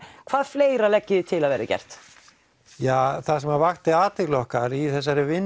hvað fleira leggið þið til að verði gert það sem vakti athygli okkar í þessari vinnu